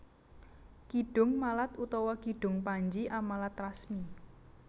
Kidung Malat utawa Kidung Panji Amalat Rasmi